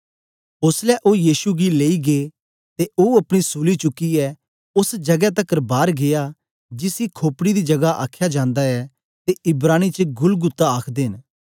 ओसलै ओ यीशु गी लेई गै ते ओ अपनी सूली चुकियै ओस जगै तकर बार गीया जिसी खोपड़ी दी जगा आख्या जंदा ऐ ते इब्रानी च गुलगुता आखदे न